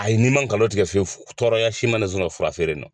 A ye n'i ma ngalon tigɛ fiyewu tɔɔrɔya si ma ne sɔrɔ fura feere in nɔ.